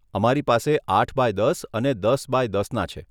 અમારી પાસે આઠ બાય દસ અને દસ બાય દસના છે.